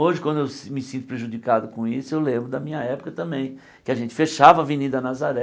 Hoje, quando me sinto prejudicado com isso, eu lembro da minha época também, em que a gente fechava a Avenida Nazaré,